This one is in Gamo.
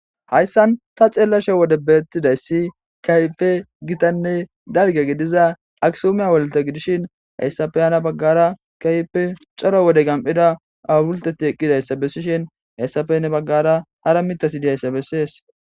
Hayssan ta ceellashe wode beettidayssi kaype gitanne dalge gidiza aksuomeya wolta gidishin hayssafeyana baggara kaype coro wode gam7ida awulteti eqqidayssa bessishin hayssafene baggara ara mitasidihayssa bessees